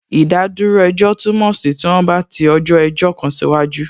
Ìdádúró ejọ́ túmọ̀ sí tí wọ́n bá ti ọjọ́ ẹjọ́ kan sí waju